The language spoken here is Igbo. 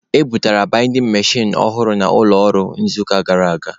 E bubatara baidin mechin ọhụrụ n'ụlọ ọrụ n'izuụka gara aga.